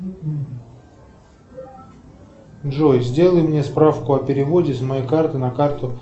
джой сделай мне справку о переводе с моей карты на карту